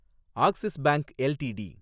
axis bank LTD